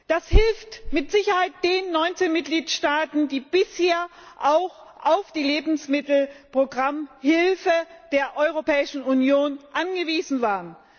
Das hilft mit Sicherheit den 19 Mitgliedstaaten, die bisher auch auf die Lebensmittelprogrammhilfe der Europäischen Union angewiesen waren.